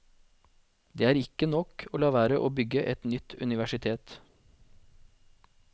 Det er ikke nok å la være å bygge et nytt universitet.